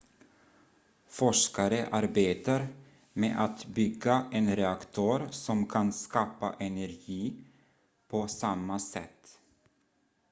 forskare arbetar med att bygga en reaktor som kan skapa energi på samma sätt